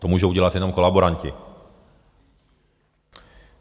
To můžou udělat jenom kolaboranti.